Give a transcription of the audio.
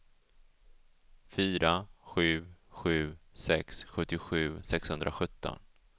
fyra sju sju sex sjuttiosju sexhundrasjutton